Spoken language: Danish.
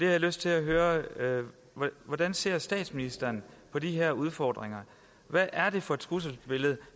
jeg lyst til at høre hvordan ser statsministeren på de her udfordringer hvad er det for et trusselsbillede